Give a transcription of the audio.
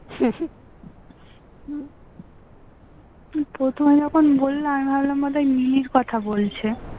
প্রথম যখন বলল আমি ভাবলাম হয়তো নীলের কথা বলছে